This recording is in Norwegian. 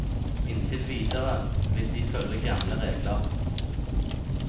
Inntil videre vil de følge gamle regler.